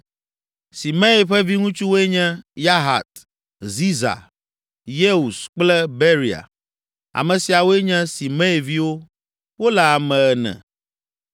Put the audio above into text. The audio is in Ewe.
Simei ƒe viŋutsuwoe nye: Yahat, Ziza, Yeus kple Beria. Ame siawoe nye Simei viwo. Wole ame ene.